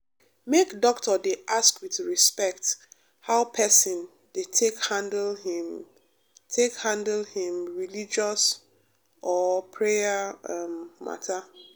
make doctor dey ask with respect how person dey take handle him take handle him um religious or prayer um matter.